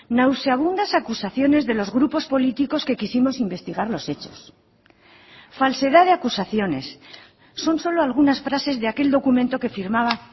nauseabundas acusaciones de los grupos políticos que quisimos investigar los hechos falsedad de acusaciones son solo algunas frases de aquel documento que firmaba